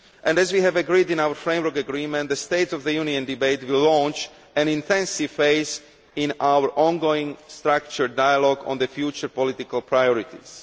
As we have agreed in our framework agreement, the State of the Union debate will launch an intensive phase in our ongoing structured dialogue on the future political priorities.